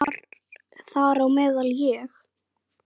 Þar á meðal ég.